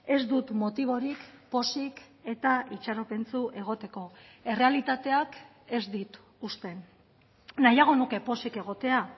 ez dut motiborik pozik eta itxaropentsu egoteko errealitateak ez dit uzten nahiago nuke pozik egotea